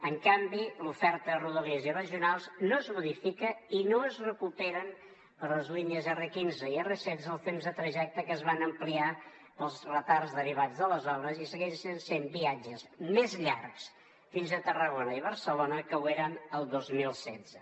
en canvi l’oferta de rodalies i regionals no es modifica i no es recuperen per les línies r15 i r16 els temps de trajecte que es van ampliar pels retards derivats de les obres i segueixen sent viatges més llargs fins a tarragona i barcelona que ho eren el dos mil setze